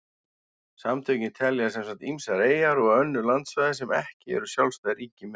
Samtökin telja sem sagt ýmsar eyjar og önnur landsvæði sem ekki eru sjálfstæð ríki með.